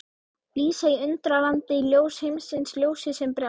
Lísa í Undralandi, Ljós heimsins, Ljósið sem brást.